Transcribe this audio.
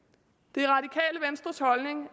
det